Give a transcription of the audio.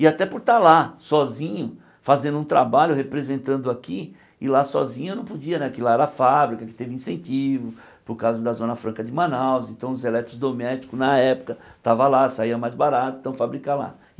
E até por estar lá, sozinho, fazendo um trabalho, representando aqui, e lá sozinho eu não podia, porque lá era a fábrica, que teve incentivo, por causa da Zona Franca de Manaus, então os elétricos domésticos, na época, estavam lá, saiam mais barato, então fabrica lá.